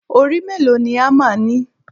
Orí mélòó ni hámà ni?